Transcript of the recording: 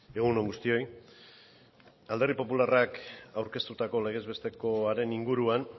egun on guztioi alderdi popularrak aurkeztutako legez bestekoaren inguruan